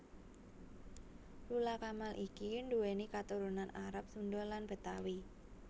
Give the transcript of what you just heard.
Lula Kamal iki nduwéni katurunan Arab Sunda lan Betawi